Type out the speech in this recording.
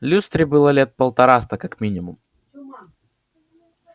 люстре было лет полтораста как минимум